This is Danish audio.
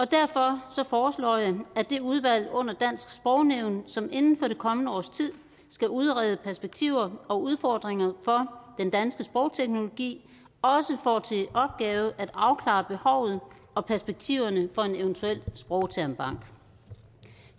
derfor foreslår jeg at det udvalg under dansk sprognævn som inden for det kommende års tid skal udrede perspektiver og udfordringer for den danske sprogteknologi også får til opgave at afklare behovet og perspektiverne for en eventuel sprogtermbank